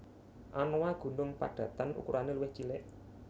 Anoa gunung padatan ukurane luwih cilik